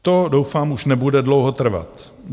To doufám už nebude dlouho trvat.